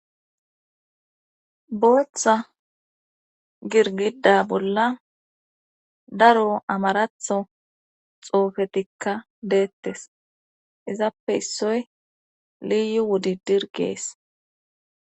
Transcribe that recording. Booththa girgida bolla daro amaratho xoofetikka deettes izappe issoy liyu wudi dirgees